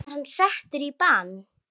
Var hann settur í bann?